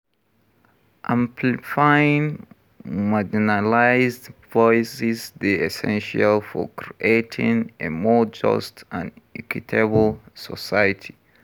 Amplifying marginalized voices dey essential for creating a more just and equitable society.